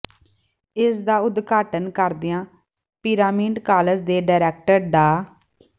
ਇਸ ਦਾ ਉਦਘਾਟਨ ਕਰਦਿਆਂ ਪਿਰਾਮਿਡ ਕਾਲਜ ਦੇ ਡਾਇਰੈਕਟਰ ਡਾ